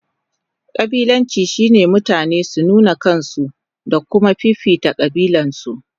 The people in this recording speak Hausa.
Kabilanci shine mutane su nuna kansu da kuma fifita kabilarsu.